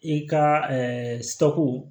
I ka seko